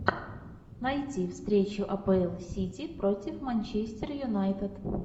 найти встречу апл сити против манчестер юнайтед